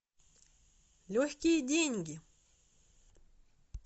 легкие деньги